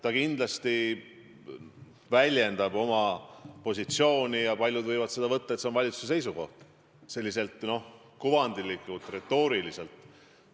Ta kindlasti väljendab oma positsiooni ja paljud võivad seda võtta nii, et see on valitsuse seisukoht, selliselt kujundlikult, retooriliselt.